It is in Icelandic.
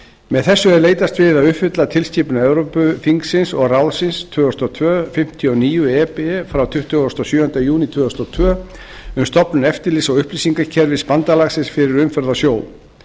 með þessu er leitast við að uppfylla tilskipun evrópuþingsins og ráðsins tvö þúsund og tvö fimmtíu og níu e b frá tuttugasta og sjöunda júní tvö þúsund og tvö um stofnun eftirlits og upplýsingakerfis bandalagsins fyrir umferð á sjó